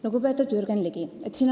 Lugupeetud Jürgen Ligi!